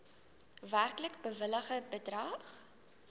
werklik bewilligde bedrag